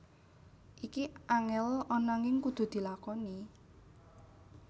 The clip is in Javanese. Iki angel ananging kudu dilakoni